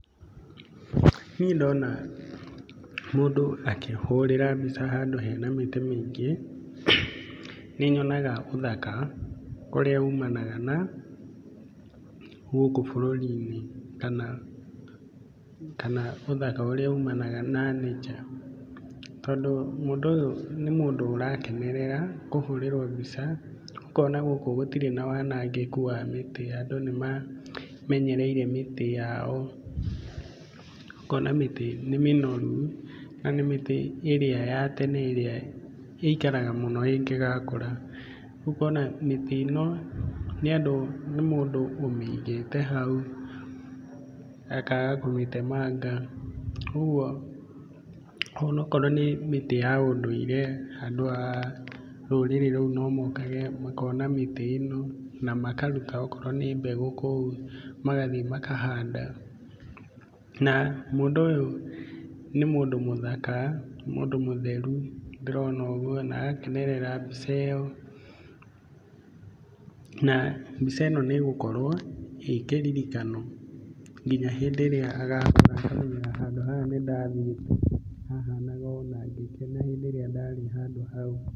Niĩ ndona mũndũ akĩhũrĩra mbica handũ hena mĩtĩ miĩngi, nĩ nyonaga ũthaka ũrĩa umanaga na gũkũ bũrũrinĩ kana ũthaka ũrĩa umanaga na nature. Tondũ mũndũ ũyũ nĩ mũndũ ũrakenerera kũhũrĩrwo mbica. Ũkona gũkũ gũtirĩ na wanangĩku wa mĩtĩ. Andũ nĩ mamenyereire mĩtĩ yao. Ũkona mĩtĩ nĩ mĩnoru na nĩ mĩtĩ ĩrĩa ya tene ĩrĩa ĩikaraga mũno ĩngĩgakũra. Rĩũ ngona mĩtĩ ĩno nĩ mũndũ ũmĩihgĩte hau akaga kũmĩtemanga. Ũguo ona okorwo nĩ mĩtĩ ya ũndũire, andũ a rũrĩrĩ rũũ no mokage makona mĩtĩ ĩno, na makaruta o korwo nĩ mbeu kũu magathiĩ makahanda. Na mũndũ ũyũ nĩ mũndũ mũthaka, nĩ mũndũ mũtheru ndĩrona ũguo, na agakenerera mbica ĩyo. Na mbica ĩno nĩ ĩgũkorwo ĩ kĩririkano nginya hĩndĩ ĩrĩa agakena kũmenya handũ haha nĩ ndathĩĩte, hahanaga ũũ, ona ngĩkena hĩndĩ ĩrĩa ndarĩ handũ hau.